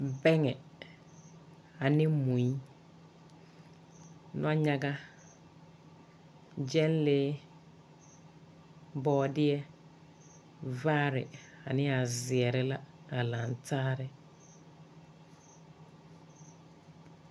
Bɛŋɛ ane mui ane nɔnyaga, gyɛlee, bɔɔdeɛ, vaare ane a zeɛre la a laŋ tare.